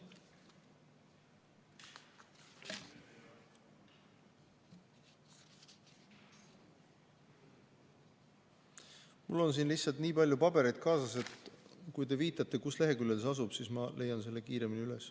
Mul on lihtsalt siin nii palju pabereid kaasas, et kui te viitate, mis leheküljel see asub, siis ma leian selle kiiremini üles.